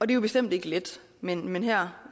det er bestemt ikke let men her